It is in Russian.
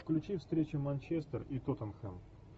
включи встречу манчестер и тоттенхэм